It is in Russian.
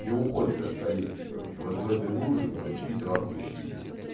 не уходит от калитки короче вот в этой луже короче и травку щиплет